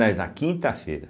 na quinta-feira.